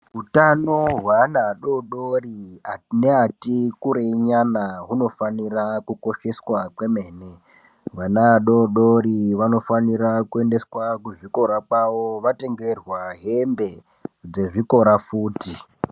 Utano hweana adoodori neatikurei nyana hunofanira kukosheswa kwemene. Vana vadoodori vanofanira kuendeswa kuzvikora kwavo vatengerwa hembe dzezvikora futi.